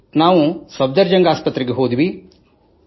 ನಾವು ದೆಹಲಿಯ ಸಫ್ದರ್ ಜಂಗ್ ಆಸ್ಪತ್ರೆಗೆ ಹೋದೆವು